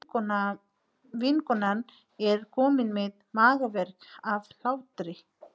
Vinkonan er komin með magaverk af hlátri.